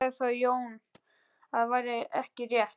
Sagði þá Jón að þetta væri ekki rétt.